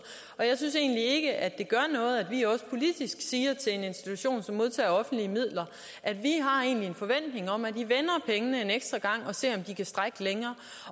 og jeg synes egentlig ikke at det gør noget at vi også politisk siger til en institution som modtager offentlige midler at vi har en forventning om at de vender pengene en ekstra gang og ser om de kan strækkes længere